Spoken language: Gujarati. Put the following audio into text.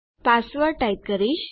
પાસવર્ડ ટાઈપ કરીશ